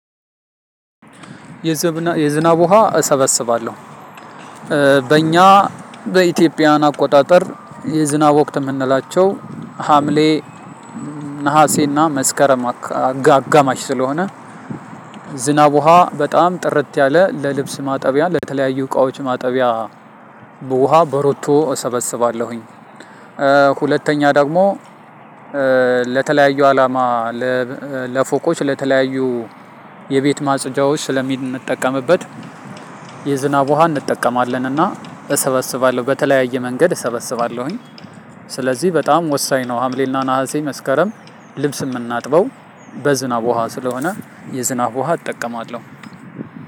የዝናብ ውሃ እሰበስባለሁ። በእኛ በኢትዮጵያን አቆጣጠር የዝናብ ወቅት የምንላቸው ሀምሌ ነሀሴና መስከረም አጋማሽ ስለሆነ ዝናብ ውሃ በጣም ጥርት ያለ ለልብስ ማጠቢያ ለተለያዩ እቃዎች ማጠቢያ። በውሃ በሮቶ እሰበስባለሁኝ። ሁለተኛ ደግሞ ለተለያየ አላማ ለፎቆች ለተለያዩ የቤት ማፅጃዎች ስለምጠቀምበት። የዝናብ ውሃ እንጠቀማለን እና እሰበስባለሁ በተለያየ መንገድ እሰበስባለሁኝ። ስለዚህ በጣም ወሳኝ ነው። ሀምሌና ናሀሴ መስከረም ልብስ የምናጥበው በዝናብ ውሃ ስለሆነ የዝናብ ውሃ እጠቀማለሁ።